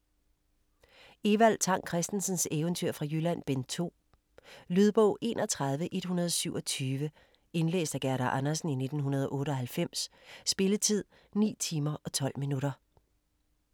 Evald Tang Kristensens Eventyr fra Jylland: Bind 2 Lydbog 31127 Indlæst af Gerda Andersen, 1998. Spilletid: 9 timer, 12 minutter.